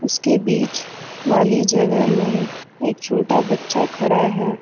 इसके बीच वाली जगह में एक छोटा बच्चा खड़ा है।